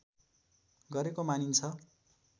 गरेको मानिन्छ